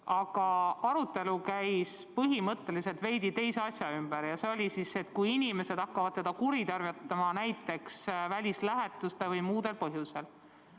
Aga arutelu käis põhimõtteliselt veidi teise asja ümber ja see oli, mis saab, kui inimesed hakkavad seda kuritarvitama näiteks välislähetusteajal või muudel põhjustel.